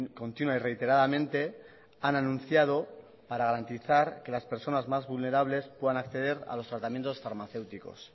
continua y reiteradamente han anunciado para garantizar que las personas más vulnerables puedan acceder a los tratamientos farmacéuticos